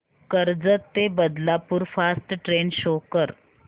कर्जत ते Badlapur fast train show कर